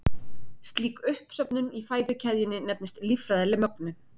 slík uppsöfnun í fæðukeðjunni nefnist líffræðileg mögnun